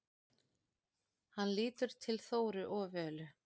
Hann lítur til Þóru og Völu.